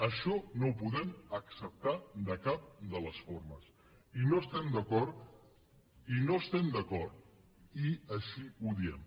això no ho podem acceptar de cap de les formes i no hi estem d’acord i no hi estem d’acord i així ho diem